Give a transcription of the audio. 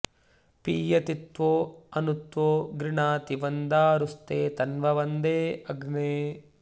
पीय॑ति त्वो॒ अनु॑ त्वो गृणाति व॒न्दारु॑स्ते त॒न्वं॑ वन्दे अग्ने